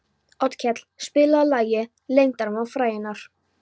Otkell, spilaðu lagið „Leyndarmál frægðarinnar“.